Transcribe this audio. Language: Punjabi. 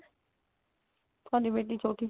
ਸਾਡੀ ਬੇਟੀ ਛੋਟੀ